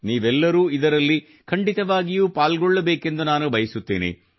ನೀವೆಲ್ಲರೂ ಇದರಲ್ಲಿ ಖಂಡಿತವಾಗಿಯೂ ಪಾಲ್ಗೊಳ್ಳಬೇಕೆಂದು ನಾನು ಬಯಸುತ್ತೇನೆ